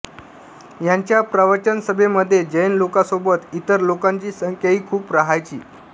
यांच्या प्रवचनसभेमध्ये जैन लोकांसोबत इतर लोकांची संख्याही खूप राहायची